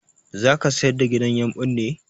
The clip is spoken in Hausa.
Zaka sayar da gidan yumɓun ne?